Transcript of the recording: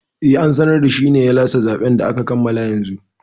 Eh, an sanar da shine ya lashe zaɓen da aka kammala yanzu